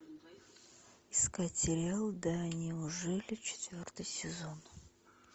искать сериал да неужели четвертый сезон